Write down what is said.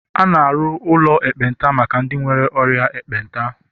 A na-arụ ụlọ ekpenta maka ndị nwere ọrịa ekpenta